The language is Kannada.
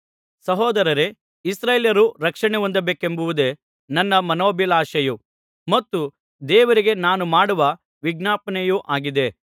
ಸಹೋದರರೇ ಇಸ್ರಾಯೇಲ್ಯರು ರಕ್ಷಣೆ ಹೊಂದಬೇಕೆಂಬುದೇ ನನ್ನ ಮನೋಭಿಲಾಷೆಯೂ ಮತ್ತು ದೇವರಿಗೆ ನಾನು ಮಾಡುವ ವಿಜ್ಞಾಪನೆಯೂ ಆಗಿದೆ